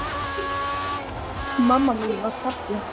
Mamma mín var falleg.